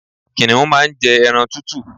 Kìnìún má n jẹ ẹran tútù